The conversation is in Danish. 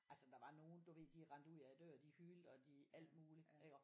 Altså der var nogen du ved de rendte ud af døren og alt muligt iggå